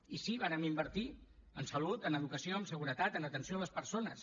i sí vàrem invertir en salut en educació en seguretat en atenció a les persones